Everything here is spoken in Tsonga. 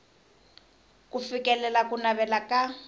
ku fikelela ku navela ka